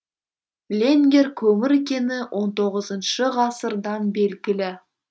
ленгер көмір кені он тоғызыншы ғасырдан белгілі